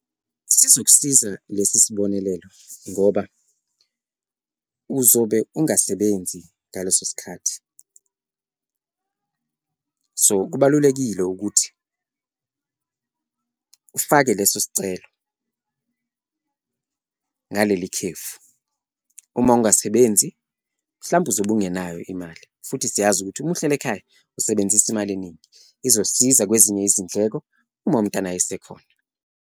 Sizokusiza lesi sibonelelo ngoba uzobe ungasebenzi ngaleso sikhathi, so kubalulekile ukuthi ufake leso sicelo ngaleli khefu. Uma ungasebenzi, mhlawumbe uzobe ungenayo imali futhi siyazi ukuthi uma uhleli ekhaya usebenzisa imali eningi, izosiza kwezinye izindleko uma umntwana esekhona.